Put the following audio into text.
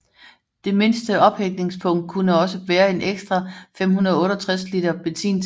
Det midterste ophængningspunkt kunne også bære en ekstra 568 liter benzintank